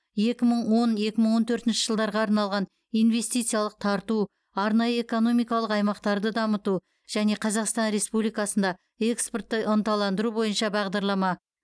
екі мың он екімың он төртінші жылдарға арналған инвестициялар тарту арнайы экономимкалық аймақтарды дамыту және қазақстан республикасында экспортты ынталандыру бойынша бағдарлама